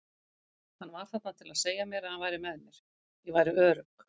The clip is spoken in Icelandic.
Hann var þarna til að segja mér að hann væri með mér, ég væri örugg.